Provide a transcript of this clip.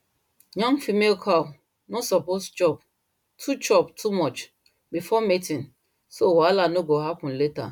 young female cow no suppose chop too chop too much before mating so wahala no go happen later